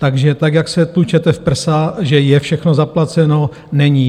Takže tak, jak se tlučete v prsa, že je všechno zaplaceno - není.